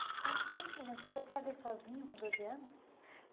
Eh conta para a gente, o seu pai veio sozinho com doze anos?